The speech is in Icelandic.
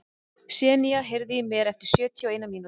Senía, heyrðu í mér eftir sjötíu og eina mínútur.